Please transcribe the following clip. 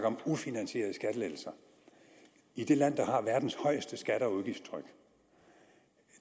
om ufinansierede skattelettelser i det land der har verdens højeste skatte og udgiftstryk og